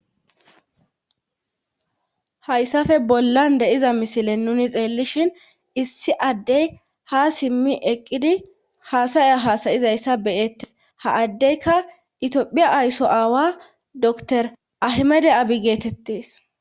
Hayssafe bollan deiza misile nuni xeellishin issi addey ha simmi eqqidi haasaya haasayizayssa beyettes ha addeyka itiophiya aysso aawa dr ahimede abi geetettees.